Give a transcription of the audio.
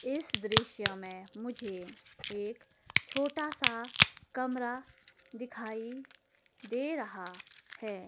इस दृश्य में मुझे एक छोटा सा कमरा दिखाई दे रहा है।